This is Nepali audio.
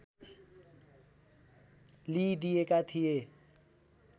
लिईदिएका थिए